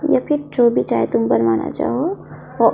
ये भी जो भी चाहे तुम बनवाना चाहो ओ --